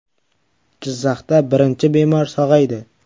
Jizzaxda birinchi bemor sog‘aydi.